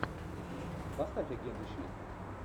поставь агенты щит